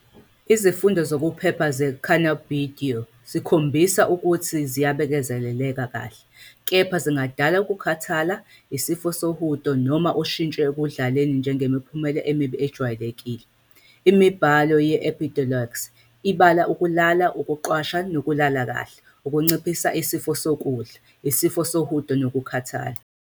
Izifundo zokuphepha ze-cannabidiol zikhombisile ukuthi ziyabekezeleleka kahle, kepha zingadala ukukhathala, isifo sohudo, noma ushintsho ekudlaleni njengemiphumela emibi ejwayelekile. Imibhalo ye-Epidiolex ibala ukulala, ukuqwasha nokulala kahle, ukunciphisa isifiso sokudla, isifo sohudo nokukhathala.